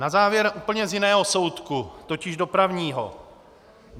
Na závěr úplně z jiného soudku, totiž dopravního.